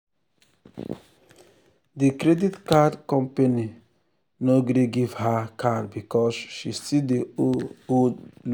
di credit card company no gree give her card because she still dey owe old loan.